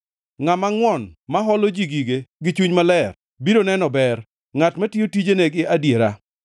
Ngʼama ngʼwon ma holo ji gige gi chuny maler biro neno ber ngʼat matiyo tijene gi adiera.